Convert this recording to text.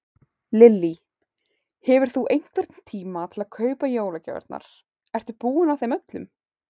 Lillý: Hefur þú einhvern tíma til að kaupa jólagjafirnar, ertu búinn að þeim öllum?